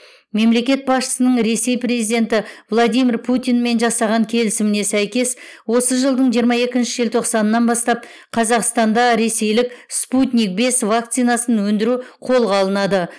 мемлекет басшысының ресей президенті владимир путинмен жасаған келісіміне сәйкес осы жылдың жиырма екінші желтоқсанынан бастап қазақстанда ресейлік спутник бес вакцинасын өндіру қолға алынады